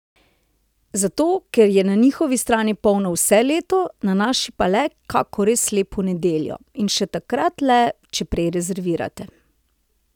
Zato, ker je na njihovi strani polno vse leto, na naši pa le kako res lepo nedeljo, in še takrat le, če prej rezervirate!